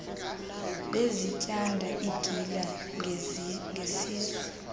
bezityanda igila ngesizwe